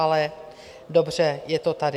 Ale dobře, je to tady.